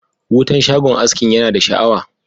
Wutan shagon askin ya na da sha'awa.